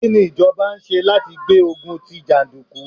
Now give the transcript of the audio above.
Kí ni ìjọba ń ṣe láti gbé ogun tí jàndùkú?